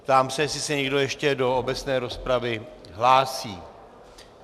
Ptám se, jestli se někdo ještě do obecné rozpravy hlásí.